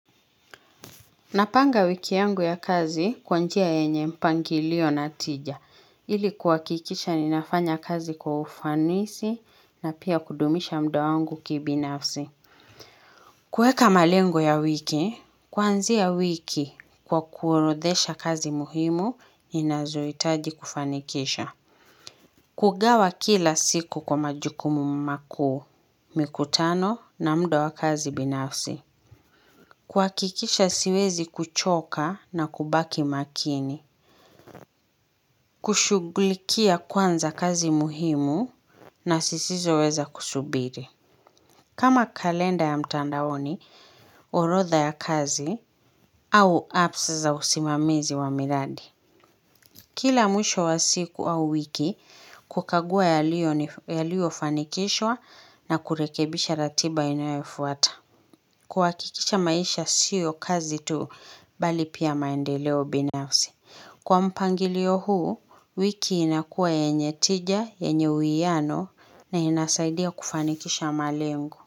Napanga wiki yangu ya kazi kwa njia yenye mpangilio na tija, ili kuhakikisha ninafanya kazi kwa ufanisi na pia kudumisha mda wangu kibinafsi. Kuweka malengo ya wiki, kuanzia wiki kwa kuorodhesha kazi muhimu, inazohitaji kufanikisha. Kugawa kila siku kwa majukumu makuu mikutano na muda wa kazi binafsi. Kuhakikisha siwezi kuchoka na kubaki makini, kushughulikia kwanza kazi muhimu na zisizo weza kusubiri. Kama kalenda ya mtandaoni, orodha ya kazi au apps za usimamizi wa miradi. Kila mwisho wa siku au wiki, kukagua yaliyo fanikishwa na kurekebisha ratiba inayofuata. Kuhakikisha maisha sio kazi tu bali pia maendeleo binafsi. Kwa mpangilio huu, wiki inakuwa yenye tija, yenye uwiano na inasaidia kufanikisha malengo.